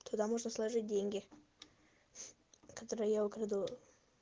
туда можно сложить деньги которые я украду